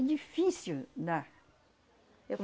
É difícil dar.